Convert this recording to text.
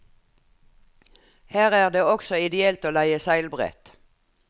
Her er det også ideelt å leie seilbrett.